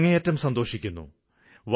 ഞാന് അങ്ങേയറ്റം സന്തോഷിക്കുന്നു